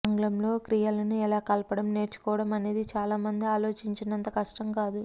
ఆంగ్లంలో క్రియలను ఎలా కలపడం నేర్చుకోవడం అనేది చాలామంది ఆలోచించినంత కష్టం కాదు